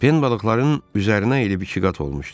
Pen balıqların üzərinə əyilib ikiqat olmuşdu.